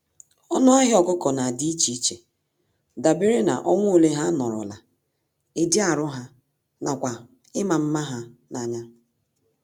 Ọnụ ahịa ọkụkọ nadi íchè iche dabere na, ọnwa ole ha nọrọla, ịdị arụ há, nakwa ịma mma ha n'anya.